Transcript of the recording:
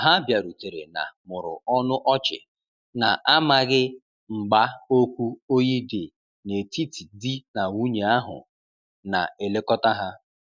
Ha biarutere na mụrụ ọnụ ọchi, na amaghi mgba okwu oyi di na etiti di na nwunye ahu na elekota ha